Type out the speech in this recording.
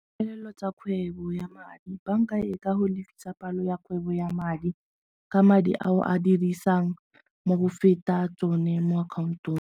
Tsa kgwebo ya madi, banka e ka go lefisa palo ya kgwebo ya madi ka madi ao a dirisang mo go feta tsone mo account-ong.